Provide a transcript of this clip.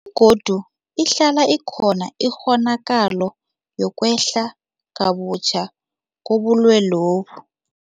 Begodu ihlala ikhona ikghonakalo yokwehla kabutjha kobulwelobu.